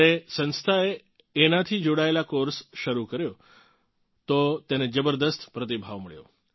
જ્યારે સંસ્થાએ એનાથી જોડાયેલ કોર્સ શરૂ કર્યો તો તેને જબરદસ્ત પ્રતિભાવ મળ્યો